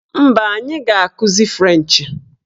Mba, anyị ga-akụzi frenchị.